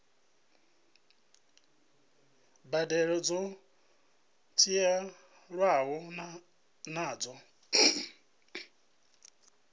mbadelo dzo dzhielwaho nṱha dza